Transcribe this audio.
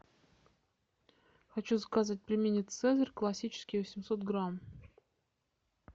хочу заказать пельмени цезарь классические восемьсот грамм